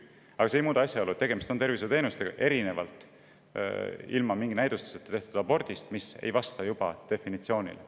Aga see ei muuda asja, sest tegemist on tervishoiuteenustega, erinevalt ilma mingi näidustuseta tehtud abordist, mis ei vasta definitsioonile.